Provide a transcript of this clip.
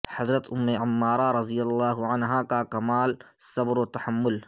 حضرت ام عمارہ رضی اللہ عنہا کاکمال صبرو تحمل